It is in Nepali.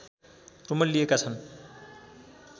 रुमल्लिएका छन्